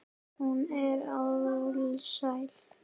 Hún er alsæl.